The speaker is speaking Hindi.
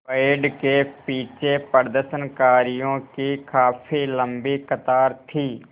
बैंड के पीछे प्रदर्शनकारियों की काफ़ी लम्बी कतार थी